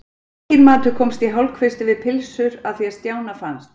Enginn matur komst í hálfkvisti við pylsur að því er Stjána fannst.